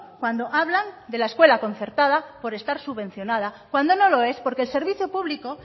cuando hablan de la escuela concertada por estar subvencionada cuando no lo es porque el servicio público